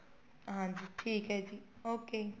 ਹਾਂਜੀ ਠੀਕ ਹੈ ਜੀ okay